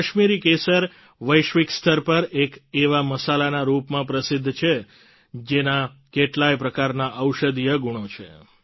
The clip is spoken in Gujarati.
કાશ્મીરી કેસર વૈશ્વિક સ્તર પર એક એવા મસાલાના રૂપમાં પ્રસિદ્ધ છે જેના કેટલાય પ્રકારના ઔષધીય ગુણો છે